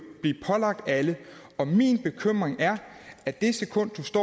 blive pålagt alle min bekymring er at det sekund